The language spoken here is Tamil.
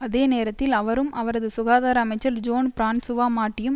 அதே நேரத்தில் அவரும் அவரது சுகாதார அமைச்சர் ஜோன் பிரான்சுவா மாட்டியும்